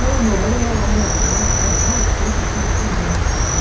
Não, não, era era mais era mais feito por políticos, né?